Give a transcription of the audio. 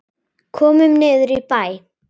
Komum niður í bæ!